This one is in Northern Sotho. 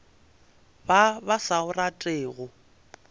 ba ba sa o ratego